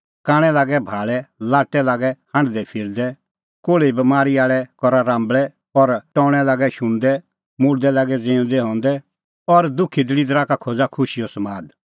कांणै लागै भाल़ै लाट्टै लागै हांढदैफिरदै कोल़्हे बमारी आल़ै करा राम्बल़ै और टौणैं लागै शुणदै मुल्दै लागै ज़िऊंदै हंदै और दुखी दल़िदरा का खोज़ा खुशीओ समाद